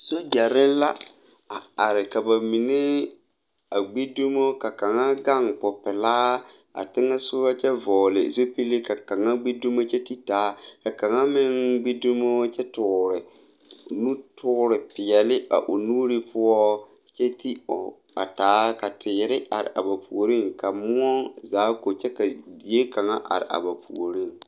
Sogyɛre la a are ka ba mine a gbi dumo ka kaŋa gaŋ popelaa a teŋɛsugɔ kyɛ vɔgle zupille ka kaŋa gbi dumo kyɛ ti taa ka kaŋa meŋ gbi dumo kyɛ toore nutoore peɛle a o nuure poɔ kyɛ ti o a taa ka teere are a ba puore ka moɔ zaa ko kyɛ ka die kaŋa are a ba puoriŋ.